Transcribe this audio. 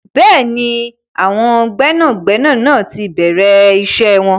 Bẹ́ẹ̀ni, àwọn gbẹ́nàgbẹnà náà ti bẹ̀rẹ̀ iṣẹ́ wọn.